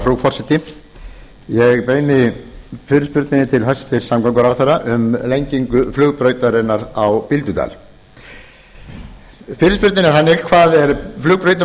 frú forseti ég beini fyrirspurninni til hæstvirts samgönguráðherra um lengingu flugbrautarinnar á bíldudal fyrirspurnin er þannig hvað er flugbrautin á